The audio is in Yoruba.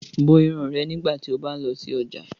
Bo irun rẹ nigbati o ba ń lọ si ọja!